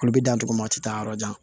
Olu bɛ dan togo min na a tɛ taa yɔrɔ jan